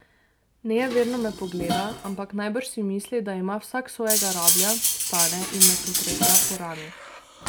Nejeverno me pogleda, ampak najbrž si misli, da ima vsak svojega rablja, vstane in me potreplja po rami.